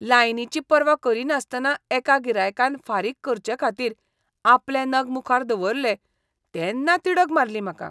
लायनीची पर्वा करिनासतना एका गिरायकान फारीक करचेखातीर आपले नग मुखार दवरले तेन्ना तिडक मारली म्हाका.